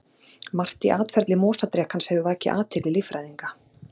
Margt í atferli mosadrekans hefur vakið athygli líffræðinga.